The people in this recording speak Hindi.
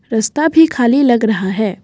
रस्ता भी खाली लग रहा है।